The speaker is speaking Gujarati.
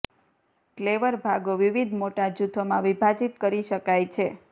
ક્લેવર ભાગો વિવિધ મોટા જૂથોમાં વિભાજિત કરી શકાય છે